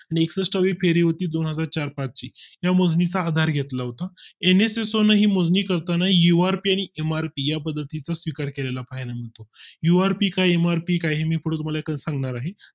next फेरी होती दोनहजार चार पाच ची या मोजणी चा आधार घेतला होता एनएसएन ही मोजणी करताना ही UR फेरी इमारती या पद्धतीचा स्वीकार केले ला फायदा होतो URPKRP काही मी तुम्हाला सांगणार आहे